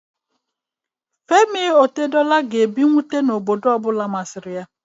Femi Otedola ga-ebi n'obodo ọ bụla masịrị ya